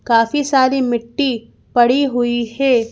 काफी सारी मिट्टी पड़ी हुई है।